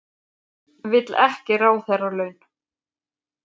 Vill ekki ráðherralaun